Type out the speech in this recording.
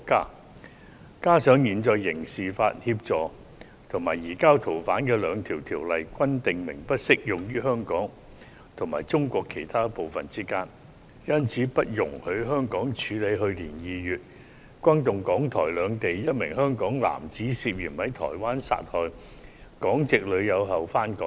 再加上，現時兩項有關刑事司法互助及移交逃犯的法例均訂明，不適用於香港與中國其他部分之間，因而不容許香港處理一宗在去年2月轟動港台兩地、一名香港男子涉嫌在台灣殺害港籍女友後返港的案件。